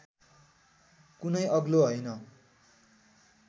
कुनै अग्लो हैन